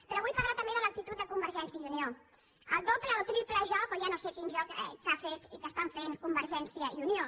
però vull parlar també de l’actitud de convergència i unió el doble o triple joc o ja no sé quin joc que han fet i que estan fent convergència i unió